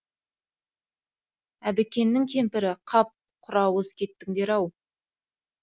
әбікеннің кемпірі қап құрауыз кеттіңдер ау